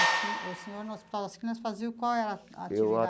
E o senhor, no Hospital das Clínicas, fazia qual é a a atividade?